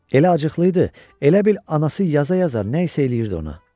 Elə acıqlı idi, elə bil anası yaza-yaza nə isə eləyirdi ona.